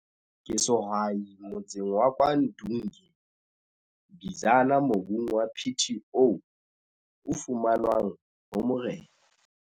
Ke sehwai motsaneng wa Kwa Ndunge, Bizana mobung wa PTO o fumanwang ho morena.